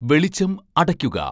വെളിച്ചം അടയ്ക്കുക